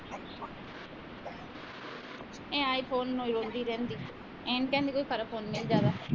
ਇਹ ਆਈਫੋਨ ਨੂੰ ਈ ਰੋਂਦੀ ਰਹਿੰਦੀ ਇਹਨੂੰ ਕਹਿ ਹੈਨੀ ਕੋਈ ਫਰਕ ਫ਼ੁਰ੍ਕ ਜਿਆਦਾ